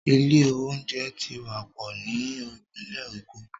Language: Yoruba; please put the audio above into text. Ilé oúnjẹ ti wá pò ní Ìpínlẹ̀ èkó.